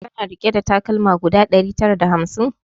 Kana rike da takalma guda ɗari tara da hamsin?